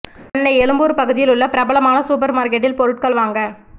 சென்னை எழும்பூர் பகுதியில் உள்ள பிரலமான சூப்பர் மார்க்கெட்டில் பொருட்கள் வாங்க